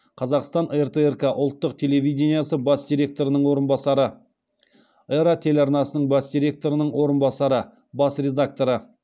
қазақстан ртрк ұлттық телевидениесі бас директорының орынбасары эра телеарнасының бас директорының орынбасары бас редакторы